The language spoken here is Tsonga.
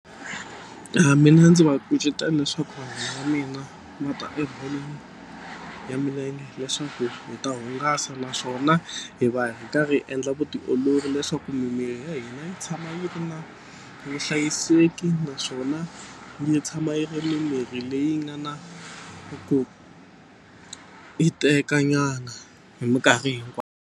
Mina ndzi va kucetela leswaku vanghana va mina va ta ebolweni ya milenge leswaku hi ta hungasa naswona hi va hi karhi hi endla vutiolori leswaku mimiri ya hina yi tshama yi ri na vuhlayiseki naswona yi tshama yi ri mimiri leyi nga na ku hiteka nyana hi minkarhi hinkwayo.